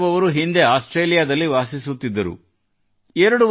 ವಿರೇಂದ್ರ ಯಾದವ್ ಅವರು ಹಿಂದೆ ಆಸ್ಟ್ರೇಲಿಯಾದಲ್ಲಿ ವಾಸಿಸುತ್ತಿದ್ದರು